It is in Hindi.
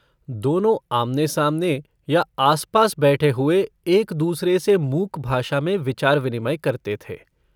दोनों आमने-सामने या आस-पास बैठे हुए दूसरे से मूक भाषा में विचार-विनिमय करते थे।